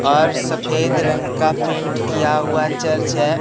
और सफेद रंग का पेंट किया हुआ चर्च हैं।